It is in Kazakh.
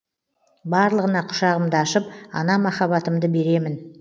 барлығына құшағымды ашып ана махаббатымды беремін